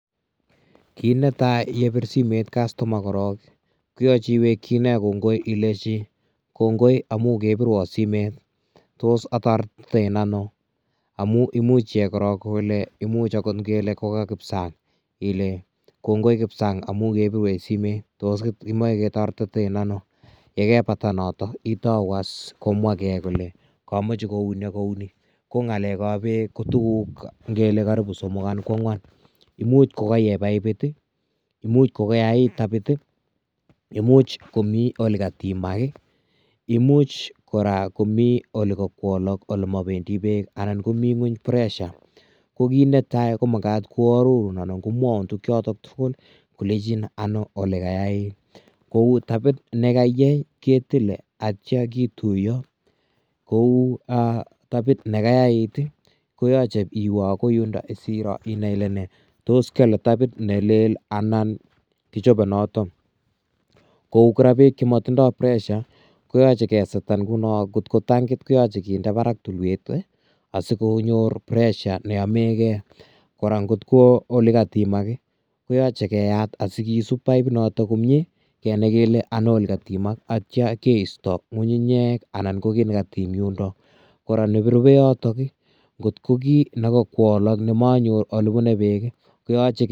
Kiit netai yebir simet customer korok ii, koyoche iwekchi ine kongoi ilechi, kongoi amu kebirwo simet tos atoretiten ano, amu imuch iyai korok kole imuch akot ngele ko ka Kipsang, ile, kongoi Kipsang amu kebirwech simet tos imoche ketoretiten ano? yekebata notok itou as komwake kole kamache kouni ak kouni, ko ngalekab Peek kotukuk ngele karibu somok anan kwangwan, imuch kokaiyei paipit ii, imuch kokayait tapit ii, imuch komi olekatimak ii, imuch kora komi ole kakwolok ole mabendi peek anan komi nguny pressure, ko kiit ne tai komakat koarorun anan komwaun tukchotok tugul kolechin ano olekayait, kou tapit ne kaiyei ketile atya kituiyo, kou tapit ne kayait koyoche iwe akoi yundo siro ile nee, tos kyole tapit ne leel anan kichobe noto, kou kora peek chemotindoi pressure koyoche kesetan nguno ngot ko tankit koyoche kinde barak tulwet ii, asikonyor pressure neyomekei, kora ngot ko olekatimak ii, koyoche keyat asikisub paipinoto komie, kenai kele ano olekatimak, atya keisto ngunyunyek anan ko kiy nekatim yundo, kora yotok ii, kot ko kiy ne kokwolok nemanyor ole bune peek ii koyoche.......